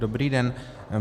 Dobrý den.